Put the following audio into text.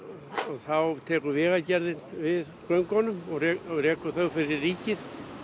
þá tekur vegagerðin við göngunum og rekur þau fyrir ríkið